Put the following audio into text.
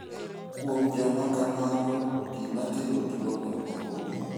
Kuom joma kamago, gima kelo tuwono ok ong'ere.